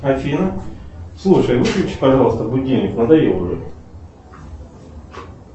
афина слушай выключи пожалуйста будильник надоел уже